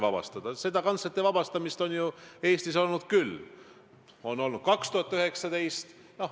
Ma arvan, et sellest on parlamentaarses debatis kindlasti kasu, et me üksteist tõlgime ja üksteise sõnadele uue tähenduse anname, nii nagu päriselt on.